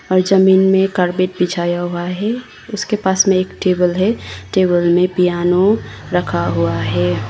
और जमीन में कारपेट बिछाया हुआ है। उसके पास में एक टेबल है। टेबल में पियानो रखा हुआ है।